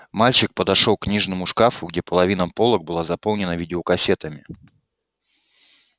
мальчик подошёл к книжному шкафу где половина полок была заполнена видеокассетами